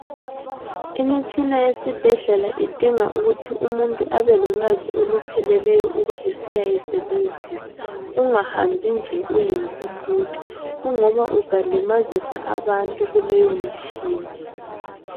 Imitshina yesibhedlela idinga ukuthi umuntu abelolwazi olupheleleyo uba esiyayisebenzisa. Ungahambi nje uyimpumputhe kungoba uzalimazisa abantu kuleyo mitshina.